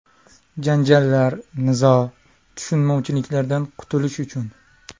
Janjallar, nizo, tushunmovchiliklardan qutulish uchun.